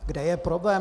Kde je problém?